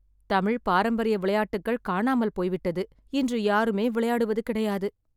தமிழ் பாரம்பரிய விளையாட்டுக்கள் காணாமல் போய்விட்டது. இன்று யாருமே விளையாடுவது கிடையாது.